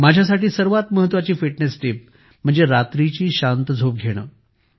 माझ्यासाठी सर्वात महत्वाची फिटनेस टीप म्हणजे रात्रीची शांत झोप घेणे